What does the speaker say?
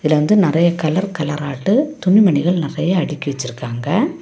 இதுல வந்து நெறய கலர் கலராட்டு துணி மணிகள் நெறயா அடுக்கி வச்சுருக்காங்க.